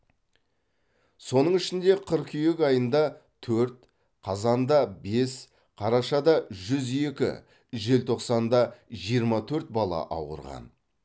соның ішінде қыркүйек айында төрт қазанда бес қарашада жүз екі желтоқсанда жиырма төрт бала ауырған